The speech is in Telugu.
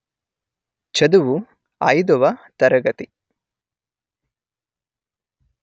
చదువు అయిదువ తరగతి